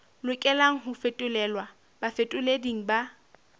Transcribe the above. lokelang ho fetolelwa bafetoleding ba